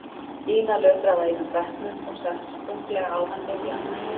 Ína lötraði að einum bekknum og settist þunglega á hann miðjan.